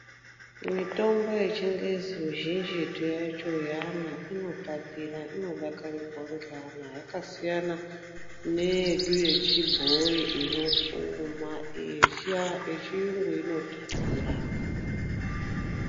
Mutombo yechingezi mizhinjitu yacho yeana inotapira, inodakarirwa ngeana yakasiyana neyedu yechibhoyi inotsuma yechiyungu inotapira.